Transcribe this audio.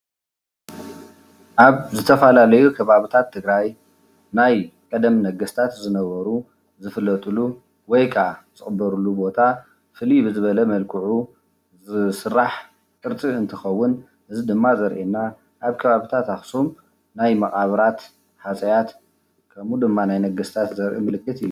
ኣብ ዝተፈላለዩ ከባብታት ትግራይ ናይ ቀደም ነገስታት ዝነበሩ ዝፍለጥሉ ወይ ክዓ ዝቕበርሉ ቦታ ፍልይ ብዝበለ መልክዑ ዝስራሕ ቅርፂ እንትኸዉን እዚ ድማ ዘርእየና ኣብ ከባብታት ኣክሱም ናይ መቓብራት ሃፀያት ከምኡ ድማ ናይ ነገስታት ዘርኢ ምልክት እዩ።